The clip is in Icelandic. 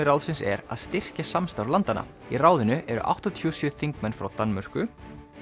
ráðsins er að styrkja samstarf landanna í ráðinu eru áttatíu og sjö þingmenn frá Danmörku